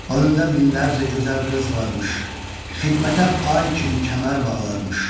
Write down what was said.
Önündə minlərcə gözəl qız varmış, xidmətə ay kimi kəmər bağlarmış.